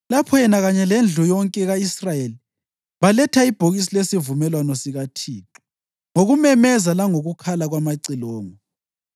lapho yena kanye lendlu yonke ka-Israyeli beletha ibhokisi lesivumelwano sikaThixo ngokumemeza langokukhala kwamacilongo.